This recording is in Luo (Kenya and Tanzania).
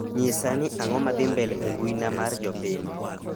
nyisa ni ang'o ma dhi mbele e mbui na mar jopiny